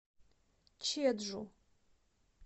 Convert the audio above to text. чеджу